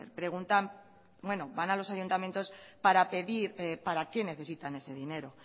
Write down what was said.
van a los ayuntamientos para pedir para qué necesitan ese dinero